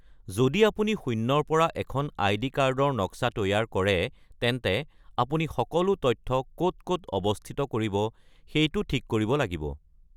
যদি আপুনি শূন্যৰ পৰা এখন আই.ডি. কাৰ্ডৰ নক্সা তৈয়াৰ কৰে, তেন্তে আপুনি সকলো তথ্য ক’ত ক'ত অৱস্থিত কৰিব সেইটো ঠিক কৰিব লাগিব।